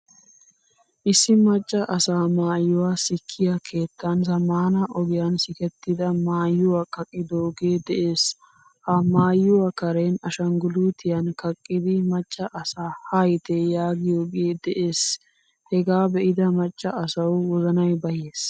Issi macca asaa maayuwaa sikkiyaa keettan zammaana ogiyan sikettida maayuwaa kaqqidoge de'ees. Ha maayuwaa karen ashanggulutiyan kaqqidi maccaa asaa haayite yaagiyoge de'ees. Hagaa be'ida macca asawu wozanay bayyees.